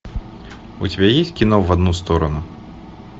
у тебя есть кино в одну сторону